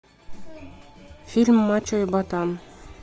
фильм мачо и ботан